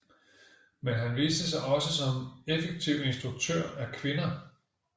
Men han viste sig også som effektiv instruktør af kvinder